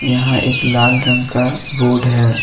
यहां एक लाल रंग का है।